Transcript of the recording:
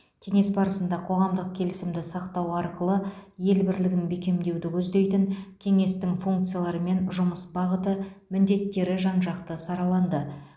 кеңес барысында қоғамдық келісімді сақтау арқылы ел бірлігін бекемдеуді көздейтін кеңестің функциялары мен жұмыс бағыты міндеттері жан жақты сараланды